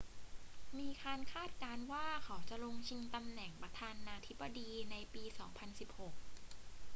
มีการคาดการณ์ว่าเขาจะลงชิงตำแหน่งประธานาธิบดีในปี 2016